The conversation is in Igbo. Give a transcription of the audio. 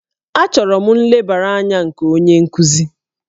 Achọrọ m nlebara anya nke onye nkuzi